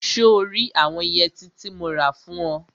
So rí àwọn yẹtí tí mo rà fún ọ?